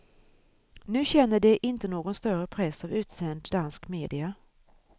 Nu känner det inte någon större press av utsänd dansk media.